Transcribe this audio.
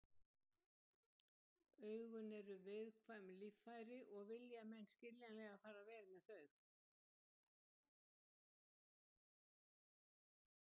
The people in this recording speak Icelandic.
Augun eru viðkvæm líffæri og vilja menn skiljanlega fara vel með þau.